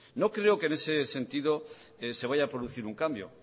no creo que en ese sentido se vaya a producir un cambio